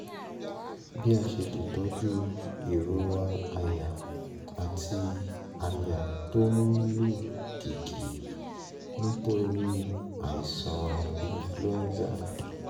bí a ṣe lè tọ́jú ìrora àyà àti àyà tó ń lù kìkì nítorí àìsàn influenza?